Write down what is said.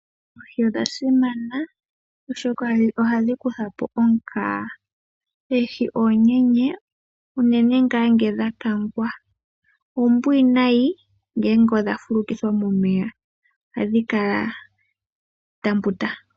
Oohi odhasimana oshoka ohadhikuthapo omukaga. Oohi ohadhikala oombwaanana unene tuu uuna dhakangwa nohadhikala oombwinayi uuna dhafulukithwa momeya oshoka ohadhi mbutu.